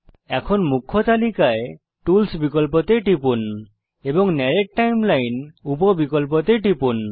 এখন মুখ্য তালিকায় টুলস বিকল্পতে টিপুন এবং নরেট্ টাইমলাইন উপ বিকল্পতে টিপুন